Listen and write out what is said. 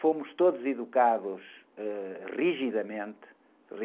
Fomos todos educados, ãh, rigidamente,